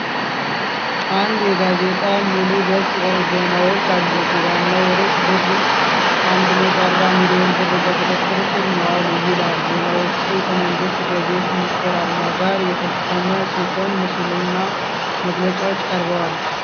አንድ የጋዜጣ ሙሉ ገጽ ዜናዎች አሉት ። ዋናው ርዕስ "ብር 140 ሚሊዮን ብር በቁጥጥር ስር መዋሉ" ይላል። ዜናዎቹ ከመንግሥት ገቢዎች ሚኒስቴር አርማ ጋር የታተሙ ሲሆን ምስሎችና መግለጫዎች ቀርበዋል።